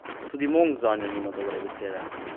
Tudi Mong zanjo nima dobre besede.